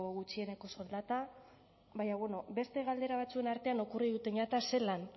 gutxieneko soldata baina bueno beste galdera batzuen artean okurriruten jata zelan